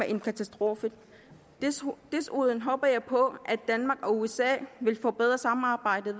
en katastrofe desuden håber jeg på at danmark og usa vil forbedre samarbejdet